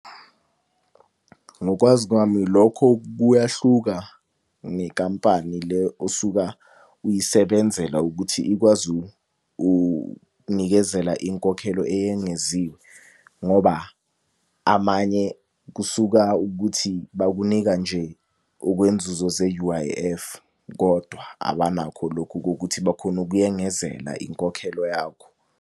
Ngokwazi kwami lokho kuyahluka nenkampani le osuka uyisebenzela ukuthi ikwazi unikezela inkokhelo eyengeziwe, ngoba amanye kusuka ukuthi bakunika nje okwenzuzo ze-U_I_F. Kodwa abanakho lokhu kokuthi bakhone ukuyengenzela inkokhelo yakho.